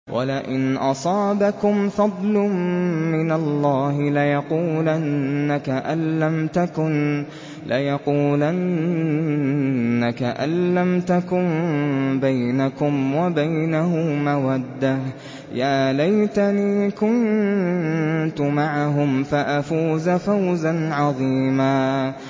وَلَئِنْ أَصَابَكُمْ فَضْلٌ مِّنَ اللَّهِ لَيَقُولَنَّ كَأَن لَّمْ تَكُن بَيْنَكُمْ وَبَيْنَهُ مَوَدَّةٌ يَا لَيْتَنِي كُنتُ مَعَهُمْ فَأَفُوزَ فَوْزًا عَظِيمًا